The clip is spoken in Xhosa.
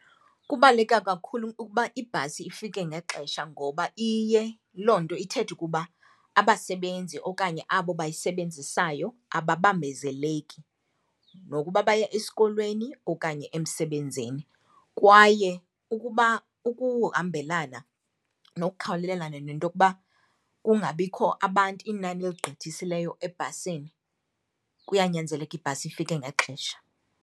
Kubaluleke kakhulu ukuba ibhasi ifike ngexesha ngoba iye loo nto ithethe ukuba abasebenzi okanye abo bayisebenzisayo ababambezeleki, nokuba baya esikolweni okanye emsebenzini. Kwaye ukuba ukuhambelana nokukhawulelana nento okuba kungabikho abantu, inani eligqithisileyo ebhasini, kuyanyanzeleka ibhasi ifike ngexesha.